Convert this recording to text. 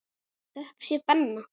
Þökk sé Benna.